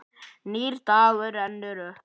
Nýr dagur rennur upp.